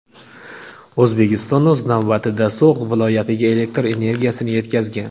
O‘zbekiston, o‘z navbatida, So‘g‘d viloyatiga elektr energiyasini yetkazgan.